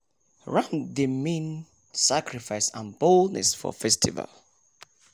ram dey mean sacrifice and boldness for festival